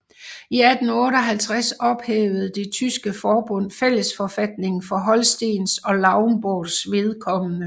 I 1858 ophævede det tyske forbund fællesforfatningen for Holstens og Lauenborgs vedkommende